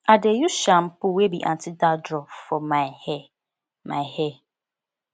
i dey use shampoo wey be anti dandruff for my hair my hair